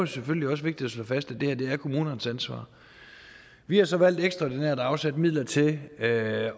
selvfølgelig også vigtigt at slå fast at det her er kommunernes ansvar vi har så valgt ekstraordinært at afsætte midler til at